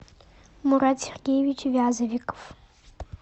мурат сергеевич вязовиков